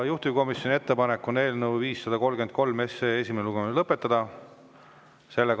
Juhtivkomisjoni ettepanek on eelnõu 533 esimene lugemine lõpetada.